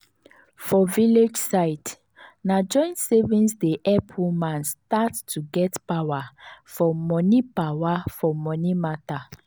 for village side na joint savings dey help women start to get power for money power for money matter.